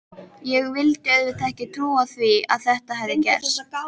Ég vildi auðvitað ekki trúa því að þetta hefði gerst.